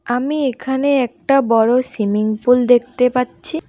আমি এখানে একটা বড় সিমিং পুল দেখতে পাচ্ছি।